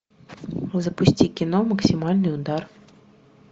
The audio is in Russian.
запусти кино максимальный удар